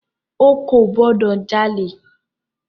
O kò gbọ́dọ̀ jalè!